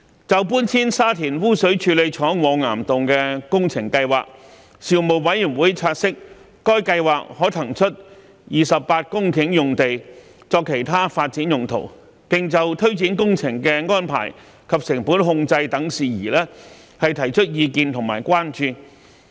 關於搬遷沙田污水處理廠往岩洞的工程計劃，事務委員會察悉該計劃可騰出28公頃用地作其他發展用途，並就推展工程的安排及成本控制等事宜提出意見和關注。